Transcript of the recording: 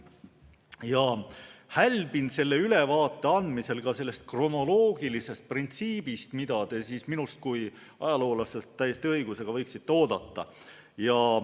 Ma hälbin selle ülevaate andmisel ka kronoloogilisest printsiibist, mida te minult kui ajaloolaselt täiesti õigusega võiksite oodata.